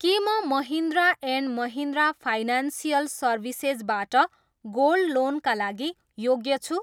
के म Mahindra and Mahindra financial services बाट गोल्ड लोनका लागि योग्य छु?